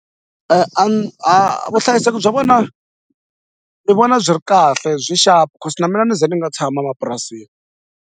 a vuhlayiseki bya vona ni vona byi ri kahle byi xapu cause na mina ni ze ni nga tshama mapurasini.